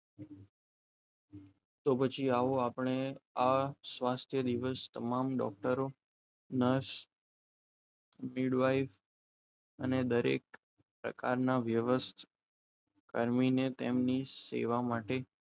તો પછી આવો આપણે આ સ્વાસ્થ્ય દિવસ તમામ ડોક્ટરો નર્સ અને દરેક પ્રકારના વ્યવસાય કન્વીને તેમની સેવા માટે